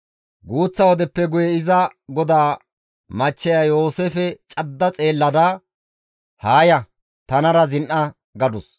Guuththa wodeppe guye iza goda machcheya Yooseefe cadda xeellada, «Haa ya; tanara zin7a» gadus.